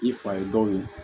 I fa ye dɔw ye